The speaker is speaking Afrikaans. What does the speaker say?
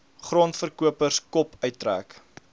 grondverkopers kop uittrek